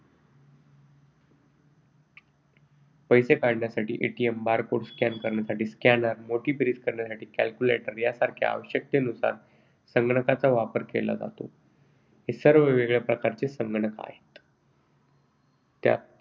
पैसे काढण्यासाठी barcode scan करण्यासाठी scaner, मोठी बेरीज करण्यासाठी calculator यासारख्या आवश्यकतेनुसार त्यांचा वापर करतो. हे सर्व वेगवेगळ्या प्रकारचे संगणक आहेत. त्यात